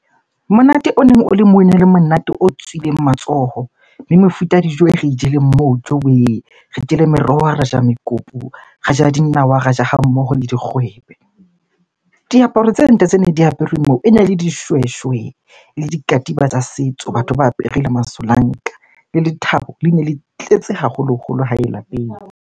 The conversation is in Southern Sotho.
Monate o neng o le mona monate o tswileng matsoho. Le mefuta ya dijo e re jeleng moo, jowee! Re jele meroho, ra ja mekopu, ra ja dinawa, ra ja ha mmoho le dikgwebe. Diaparo tse ntle tse neng di aperwe moo ene le dishweshwe le dikatiba tsa setso, batho ba apere le masolanka. Le lethabo lene le tletse haholoholo hae lapeng.